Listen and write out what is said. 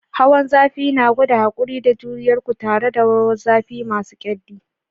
Hawan zafi na gwada haƙuri da juriyar ku tare da rawar zafi masu ƙyalli.